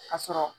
Ka sɔrɔ